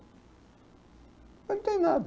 Não tenho nada.